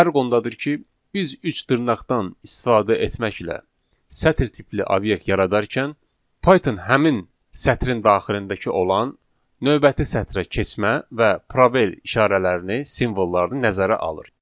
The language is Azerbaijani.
Fərq ondadır ki, biz üç dırnaqdan istifadə etməklə sətir tipli obyekt yaradarkən Python həmin sətrin daxilindəki olan növbəti sətrə keçmə və probel işarələrini, simvolları nəzərə alır.